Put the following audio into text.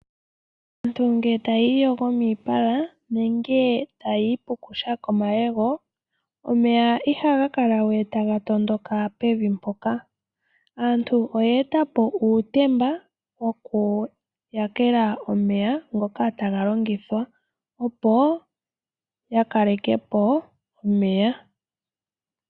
Aantu ngele tayii yogo miipala, nenge taayi pushu komayego, omeya ihaga kala we taga tondoka pevi mpoka. Aantu oye etapo uutemba wokuyakela omeya ngoka taga longithwa, opo ya kalekepo omeya.